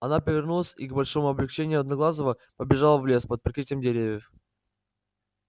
она повернулась и к большому облегчению одноглазого побежала в лес под прикрытие деревьев